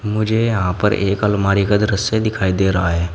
मुझे यहां पर एक अलमारी का दृश्य दिखाई दे रहा है।